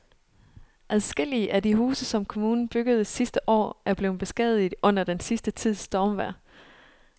Adskillige af de huse, som kommunen byggede sidste år, er blevet beskadiget under den sidste tids stormvejr.